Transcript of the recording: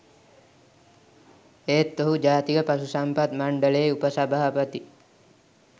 එහෙත් ඔහු ජාතික පශු සම්පත් මණ්ඩලයේ උපසභාපති